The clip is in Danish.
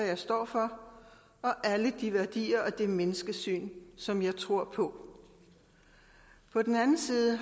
jeg står for og alle de værdier og det menneskesyn som jeg tror på på den anden side